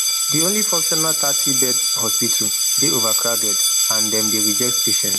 di only functional thirty bed hospital dey overcrowded and dem dey reject patients